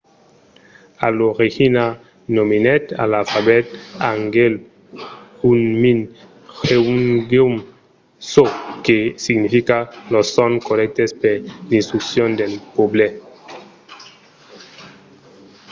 a l'origina nomenèt l’alfabet hangeul hunmin jeongeum çò que significa los sons corrèctes per l’instruccion del pòble